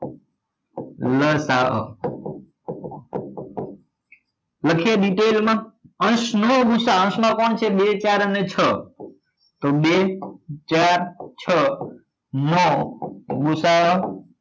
લસા અ લખીએ detail માં અંશ નો ગુ સા અ અંશ માં કોણ છે બે ચાર અને છ તો બે ચાર છ નો ગુ સા અ